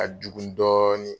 Ka jugu dɔɔnin.